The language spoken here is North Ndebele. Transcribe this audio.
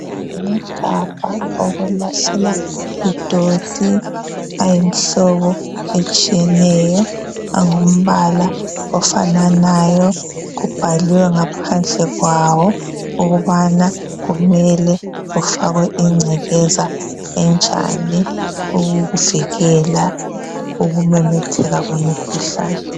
Amagabha okulahlela idoti ayimhlobo etshiyeneyo angumbala ofananayo. Kubhaliwe ngaphandle kwawo ukubana kumele kufakwe ingcekeza enjani ukuvikela ukumemetheka kwemikhuhlane.